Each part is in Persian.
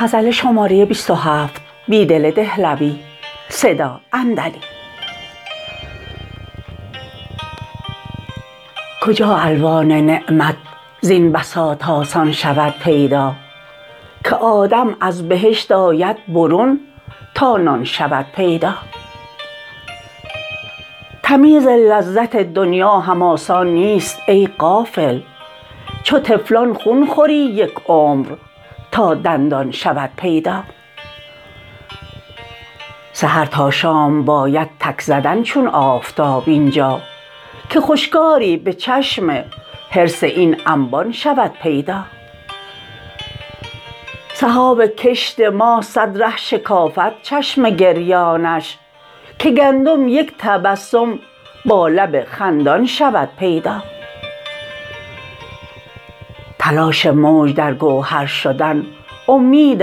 کجا الوان نعمت زین بساط آسان شود پیدا که آدم ازبهشت آید برون تا نان شود پیدا تمیز لذت دنیا هم آسان نیست ای غافل چو طفلان خون خوری یک عمر تا دندان شود پیدا سحر تا شام باید تک زدن چون آفتاب اینجا که خشکاری به چشم حرص این انبان شود پیدا سحاب کشت ما صد ره شکافد چشم گریانش که گندم یک تبسم با لب خندان شود پیدا تلاش موج در گوهر شدن امید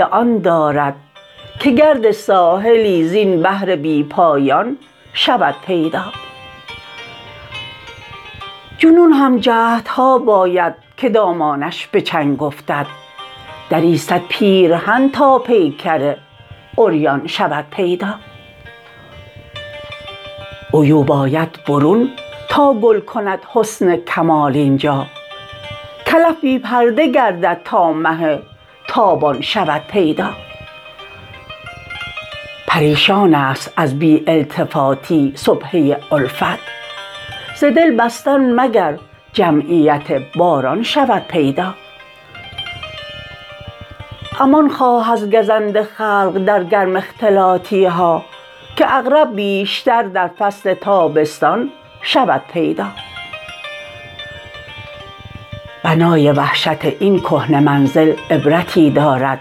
آن دارد که گرد ساحلی زین بحر بی پایان شود پیدا جنون هم جهدها باید که دامانش به چنگ افتد دری صد پیرهن تا پیکر عریان شود پیدا عیوب آید برون تا گل کند حسن کمال اینجا کلف بی پرده گردد تا مه تابان شود پیدا پریشان است از بی التفاتی سبحه الفت ز دل بستن مگر جمعیت باران شود پیدا امان خواه از گزند خلق در گرم اختلاطی ها که عقرب بیشتر در فصل تابستان شود پیدا بنای وحشت این کهنه منزل عبرتی دارد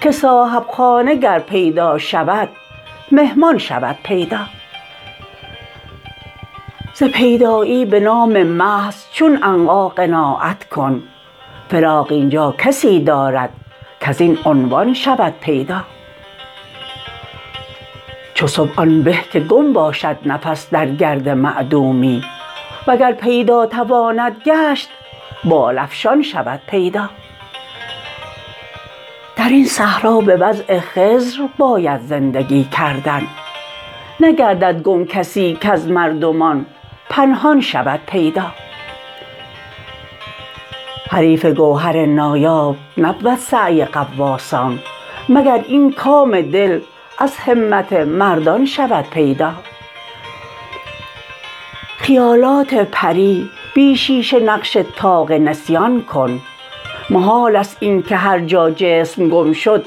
که صاحب خانه گر پیدا شود مهمان شود پیدا ز پیدایی به نام محض چون عنقا قناعت کن فراغ اینجا کسی دارد کزو عنوان شود پیدا چو صبح آن به که گم باشد نفس در گرد معدومی وگر پیدا تواند گشت بال افشان شود پیدا درین صحرا به وضع خضر باید زندگی کردن نگردد گم کسی کز مردمان پنهان شود پیدا حریف گوهر نایاب نبود سعی غواصان مگر این کام دل از همت مردان شود پیدا خیالات پری بی شیشه نقش طاق نسیان کن محال است اینکه هرجا جسم گم شد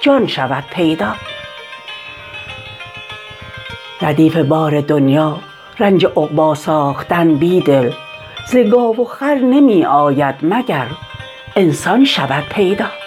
جان شود پیدا تماشاگاه عبرت پا به دامن سیر می خواهد نگه می باید اینجا توأم مژگان شود پیدا ردیف بار دنیا رنج عقبا ساختن بیدل ز گاو و خر نمی آید مگر انسان شود پیدا